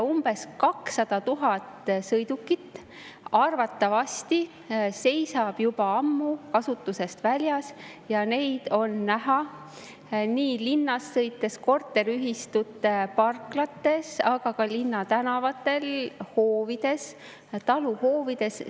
Umbes 200 000 sõidukit arvatavasti seisab juba ammu kasutusest väljas ja neid on linnas sõites näha korteriühistute parklates, aga ka linnatänavatel ja hoovides, samuti taluhoovides.